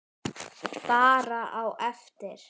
Bara á eftir.